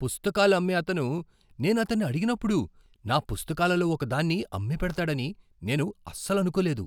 పుస్తకాలు అమ్మే అతను నేను అతన్ని అడిగినప్పుడు నా పుస్తకాలలో ఒకదాన్ని అమ్మిపెడతాడని నేను అస్సలు అనుకోలేదు!